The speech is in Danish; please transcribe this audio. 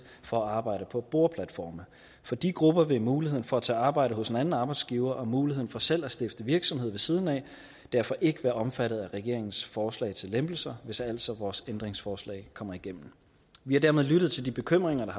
for at arbejde på boreplatforme for de grupper vil muligheden for at tage arbejde hos en anden arbejdsgiver og muligheden for selv at stifte virksomhed ved siden af derfor ikke være omfattet af regeringens forslag til lempelser hvis altså vores ændringsforslag kommer igennem vi har dermed lyttet til de bekymringer der